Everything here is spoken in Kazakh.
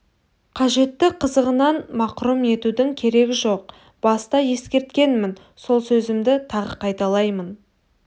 қажетті қызығынан мақұрым етудің керегі жоқ баста ескерткенмін сол сөзімді тағы қайталаймын